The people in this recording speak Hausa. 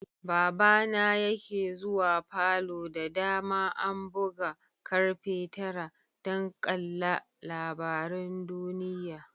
Baba na yake zuwa falo da dama an buga karfe tara dan ƙalla labarin duniyya.